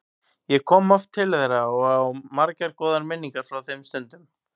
Ég kom oft til þeirra og á margar góðar minningar frá þeim stundum.